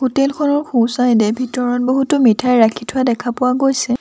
Hotel খনৰ সোঁ চাইডে ভিতৰত বহুতো মিঠাই ৰাখি থোৱা দেখা পোৱা গৈছে।